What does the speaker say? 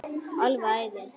Alveg æði.